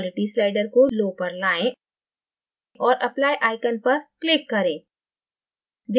quality slider को low पर लायें और applyआइकन पर click करें